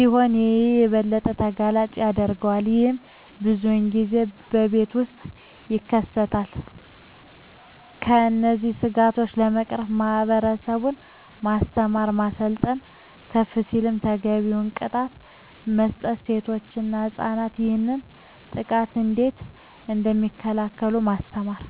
ይህም የበለጠ ተጋላጭ ያደርጋቸዋል። ይህም ብዙን ጊዜ በቤት ውስጥ ይከሰታል። እነዚህን ስጋቶች ለመቅረፍ ማህበረሰቡን ማስተማር፣ ማሰልጠን፣ ከፍ ሲልም ተገቢውን ቅጣት መስጠት፣ ሴቶች እና ህፃናት ይህንን ጥቃት እንዴት እደሚከላከሉ ማስተማር።